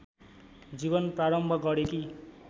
जीवन प्रारम्भ गरेकी